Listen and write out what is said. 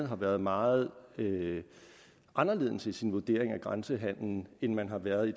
har været meget anderledes i sin vurdering af grænsehandelen end man har været i